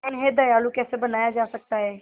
उन्हें दयालु कैसे बनाया जा सकता है